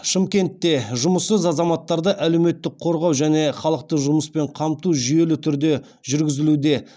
шымкентте жұмыссыз азаматтарды әлеуметтік қорғау және халықты жұмыспен қамту жүйелі түрде жүргізілуде